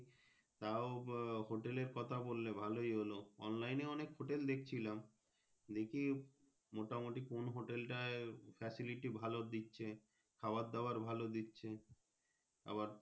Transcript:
তাও বা Hotel এর কথা বললে ভালোই হলো Online এ অনেক Hotel দেখছিলাম দেখি মোটা মুটি কোন Hotel টাই Facility ভালো দিচ্ছে খাবার দাবার ভালো দিচ্ছে আবার।